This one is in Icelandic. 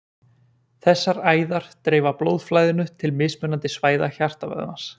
Þessar æðar dreifa blóðflæðinu til mismunandi svæða hjartavöðvans.